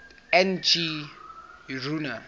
n g rjuna